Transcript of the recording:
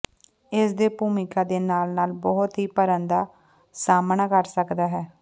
ਇਸ ਦੇ ਭੂਮਿਕਾ ਦੇ ਨਾਲ ਨਾਲ ਬਹੁਤ ਹੀ ਭਰਨ ਦਾ ਸਾਮ੍ਹਣਾ ਕਰ ਸਕਦਾ ਹੈ